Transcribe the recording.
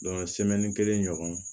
kelen ɲɔgɔn